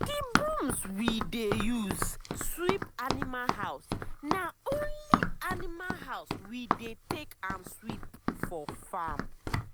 d brooms we de use sweep animal house na only animal house we dey take am sweep for farm.